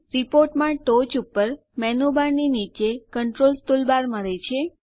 report માં ટોચ ઉપર મેનુબાર ની નીચે કન્ટ્રોલ્સ ટુલબાર મળે છે